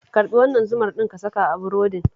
Karɓi wannan zumar ɗin ka saka a burodin